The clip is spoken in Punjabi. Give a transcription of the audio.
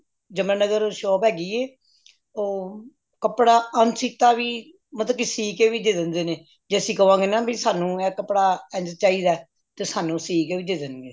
ਜਮੁਨਾਨਾਗਾਰ shop ਹੈਗੀ ਏ ਉਹ ਕਪੜਾ ਅਨਸਿਤਾ ਵੀ ਮਤਲਬ ਕਿ ਸੀ ਕੇ ਵੀ ਦੇ ਦੇਂਦੇ ਨੇ ਜ ਅੱਸੀ ਕਵਾਂ ਗੇਨਾ ਸਾਨੂ ਇਹ ਕਪੜਾ ਇੰਝ ਚਾਹੀਦਾ ਤੇ ਸਾਨੂ ਸੀ ਕੇ ਵੀ ਦੇ ਦੇਣਗੇ